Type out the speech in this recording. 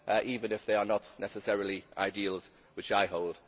even if they are not necessarily ideals which I hold.